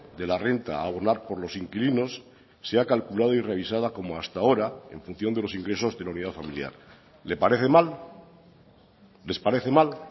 de la renta a abonar por los inquilinos sea calculado y revisada como hasta ahora en función de los ingresos de la unidad familiar le parece mal les parece mal